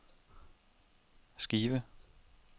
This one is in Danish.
Skive